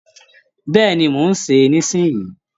Bẹ́ẹ̀ni, mò ń sè é nísìnyí